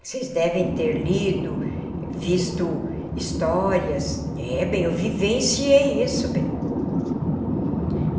Vocês devem ter lido, visto histórias.. É bem, eu vivenciei isso bem. Uhum.